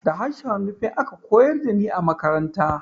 Da harshen Nufe aka koyar da ni a makaranta